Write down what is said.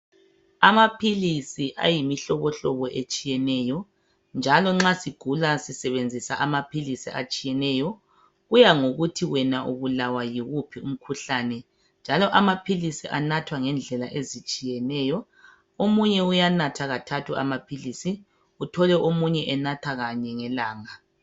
Amaphilisi ayimihlobo hlobo etshiyeneyo njalo nxa sigula sisebenzisa amaphilisi atshiyeneyo kuyangokuthi wena ubulawa yiwuphi umkhuhlane .Njalo amaphilisi anathwa ngendlela ezitshiyeneyo omunye uyanatha kathathu amaphilisi omunye enatha kabili ngelanga.